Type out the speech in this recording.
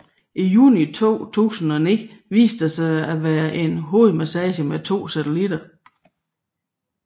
I juni 2009 viste den sig at være en hovedmasse med to satellitter